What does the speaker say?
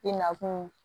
I nakun